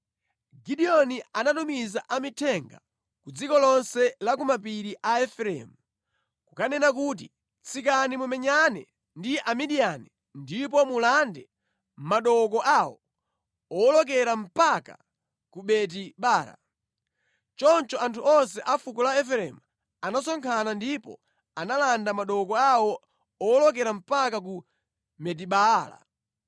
Gideoni anatumiza amithenga ku dziko lonse la ku mapiri la Efereimu kukanena kuti, “Tsikani mumenyane ndi Amidiyani ndipo mulande madooko awo owolokera mpaka ku Beti-Bara.” Choncho anthu onse a fuko la Efereimu anasonkhana ndipo analanda madooko awo owolokera mpaka ku Betibaala.